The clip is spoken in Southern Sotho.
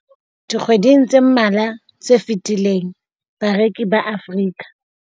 Dikgweding tse mmalwa tse fetileng, bareki ba Afrika